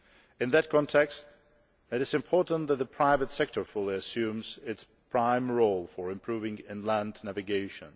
In that context it is important that the private sector fully assume its prime role for improving inland navigation.